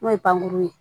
N'o ye pankurun ye